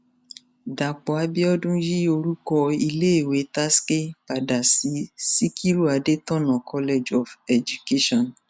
dápò abiodun yí orúkọ iléèwé tasce padà sí sikiru adétọnà college of education